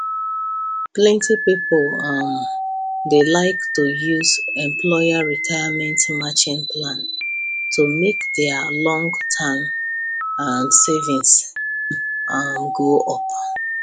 plenty people um dey like to use employer retirement matching plan to make their long term um savings um go up